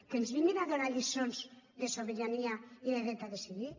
que ens vinguin a donar lliçons de sobirania i de dret a decidir